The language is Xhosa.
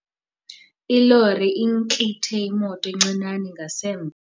Ilori intlithe imoto encinane ngasemva.